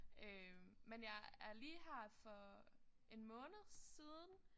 Øh men jeg er lige her for en måned siden